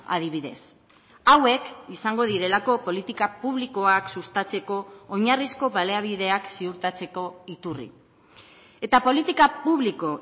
adibidez hauek izango direlako politika publikoak sustatzeko oinarrizko baliabideak ziurtatzeko iturri eta politika publiko